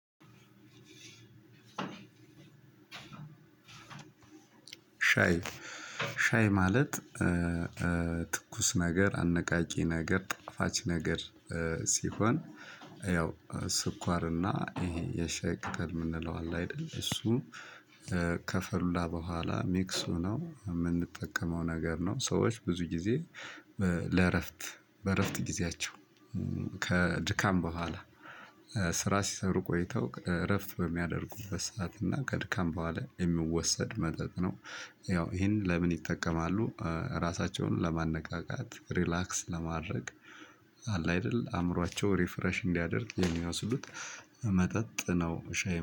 ሻይ። ሻይ ማለት ትኩስ ነገር አነቃቂ ነገር ጣፋጭ ነገር ሲሆን ያው ስኳርና ይሄ የሸየቅጠል ምንለው አለ አይደል እሱ። ከፈላ በኋላ ሜክስ ሆነው ምንጠቀመው ነገር ነው ሰዎች ብዙ ጊዜ ለእረፍት በእረፍት ጊዜያቸው። ከድካም በኋላ ስራ ሲሰሩ ቆይተው እረፍት በሚያደርጉበት ሰዓት እና ከድካም በኋላ የሚወሰድ መጠጥ ነው። ያው ይሄን ለምን ይጠቀማሉ? ራሳቸውን ለማነቃቃት ሪላክስ ለማድረግ። አላይደል አምሯቸው ሪፍሬሽ እንዲያደርግ የሚወስዱት መጠጥ ነው። ሻይ